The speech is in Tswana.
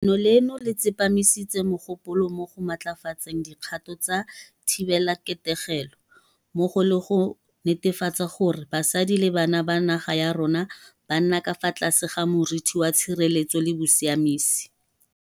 Leno le tsepamisitse mogopolo mo go matlafatseng dikgato tsa thibelaketegelo, mmogo le go netefatsa gore basadi le bana ba naga ya rona ba nna ka fa tlase ga moriti wa tshireletsego le bosiamisi.